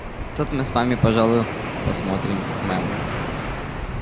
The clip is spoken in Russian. тут мы с вами пожалуй посмотрим мэм